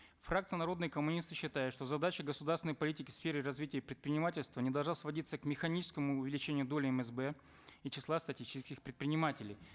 фракция народные коммунисты считает что задача государственной политики в сфере развития предпринимательства не должна сводиться к механическому увеличению доли мсб и числа статистических предпринимателей